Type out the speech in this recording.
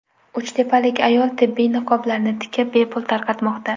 Uchtepalik ayol tibbiy niqoblarni tikib, bepul tarqatmoqda .